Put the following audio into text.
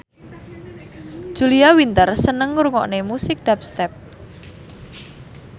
Julia Winter seneng ngrungokne musik dubstep